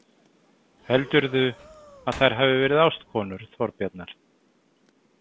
Heldurðu að þær hafi verið ástkonur Þorbjarnar?